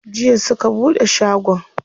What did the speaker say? Jiya suka buɗe shagon?